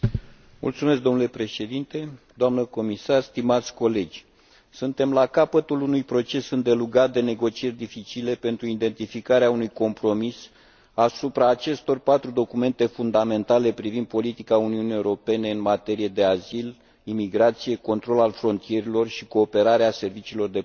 Domnule președinte, suntem la capătul unui proces îndelungat de negocieri dificile pentru identificarea unui compromis asupra acestor patru documente fundamentale privind politica Uniunii Europene în materie de azil, imigrație, control al frontierelor și cooperarea serviciilor de poliție.